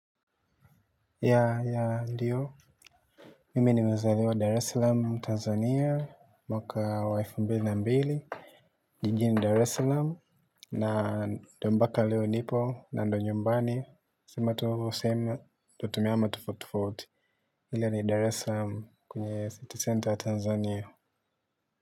Ndiyo, mimi nimezaliwa Dar es Salaam, Tanzania. Mwaka elfu mbili na mbili, jijini Dar es Salaam na mpaka leo nipo na ndiyo nyumbani. Sima tuho same tutumiyama tufutufuti hile ni Dar eslam kunye City Center Tanzania.